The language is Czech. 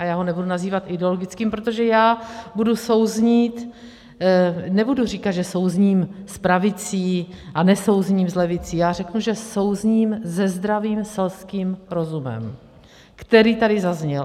A já ho nebudu nazývat ideologickým, protože já budu souznít - nebudu říkat, že souzním s pravicí, a nesouzním s levicí, já řeknu, že souzním se zdravým selským rozumem, který tady zazněl.